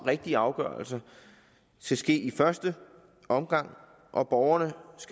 rigtige afgørelser skal ske i første omgang og borgerne